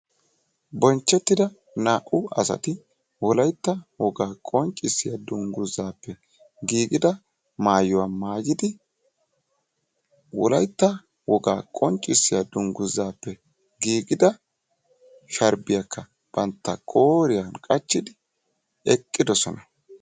bonchettida naa'u asati wolaytta wogaa maayuwaa danguzaape giigida maayuwa mayidi wolaytta wogaa qonccisiya danguzaappe giiida sharbiyaaka banta qooriyan qachidi eqidosona.